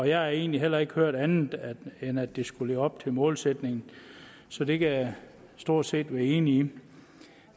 jeg har egentlig heller ikke hørt andet end at det skulle leve op til målsætningen så det kan jeg stort set være enig i